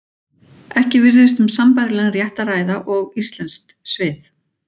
Ekki virðist um sambærilegan rétt að ræða og íslensk svið.